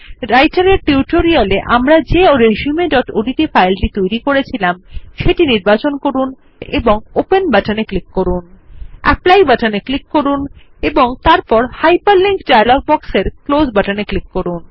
রাইটের এর টিউটোরিয়াল এ আমরা যে resumeওডিটি ফাইলটি তৈরী করেছিলাম সেটি নির্বাচন করুন এবং ওপেন বাটনে ক্লিক করুন অ্যাপলি বাটনে ক্লিক করুন এবং তারপর হাইপারলিংক ডায়লগ বক্সের ক্লোজ বাটনে ক্লিক করুন